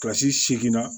Kilasi seeginna